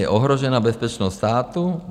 Je ohrožena bezpečnost státu?